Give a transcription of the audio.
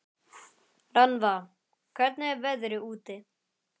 Rannva, hvernig er veðrið úti?